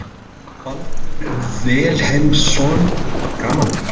Séra Baldur Vilhelmsson: Gaman?